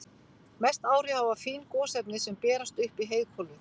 Mest áhrif hafa fín gosefni sem berast upp í heiðhvolfið.